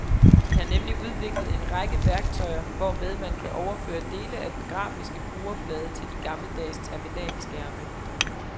De har nemlig udviklet en række værktøjer, hvormed man kan overføre dele af den grafiske brugerflade til de gammeldags terminalskærme.